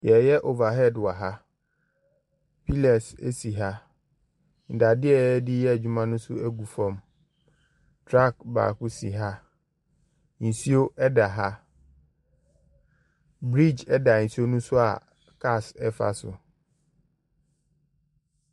Yɛreyɛ overhead wɔ ha, pillars si ha, nnadeɛ a yɛde reyɛ adwuma no nso gu fam, truck baako si ha, nsuo da ha, bridge da nsuo ne so a cars fa so.